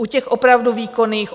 U těch opravdu výkonných?